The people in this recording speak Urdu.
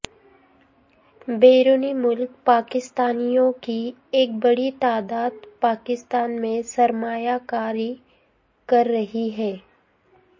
بیرون ملک پاکستانیوں کی ایک بڑی تعداد پاکستان میں سرمایہ کاری کر رہی ہے